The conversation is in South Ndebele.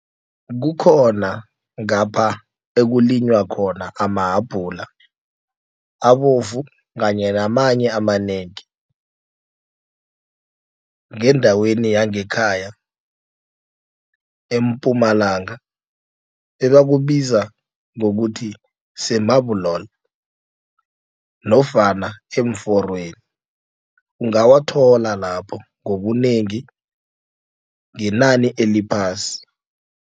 Kukhona ngapha okulinywa khona amahabhula abovu kanye namanye amanengi. Ngendaweni yangekhaya eMpumalanga ebakubiza ngokuthi se-Marble Hall nofana eemforweni ungawathola lapho ngobunengi ngenani eliphasi.